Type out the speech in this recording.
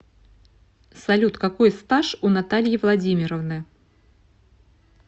салют какой стаж у натальи владимировны